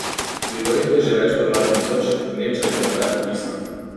Bilo jih je že več kot dva tisoč, gneča je bila nepopisna.